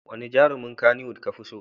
Wane jarumin Kannywood kafi so?